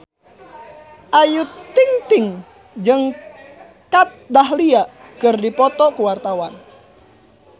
Ayu Ting-ting jeung Kat Dahlia keur dipoto ku wartawan